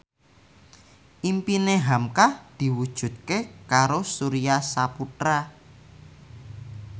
impine hamka diwujudke karo Surya Saputra